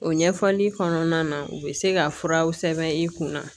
O ɲɛfɔli kɔnɔna na u bɛ se ka furaw sɛbɛn i kunna